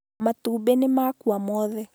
Matumbĩ nĩmakua mothe